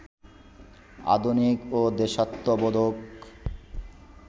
আধুনিক ও দেশাত্মবোধক